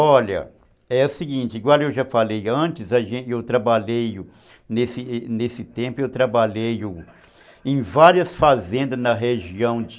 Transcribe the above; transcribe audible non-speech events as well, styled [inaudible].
Olha, é o seguinte, igual eu já falei antes, [unintelligible] eu trabalhei, nesse nesse tempo, eu trabalhei em várias fazendas na região de...